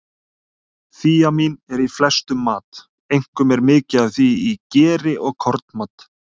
Þíamín er í flestum mat, einkum er mikið af því í geri og kornmat.